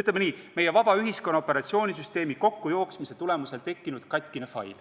ütleme nii, et meie vaba ühiskonna operatsioonisüsteemi kokkujooksmise tulemusel tekkinud katkine fail.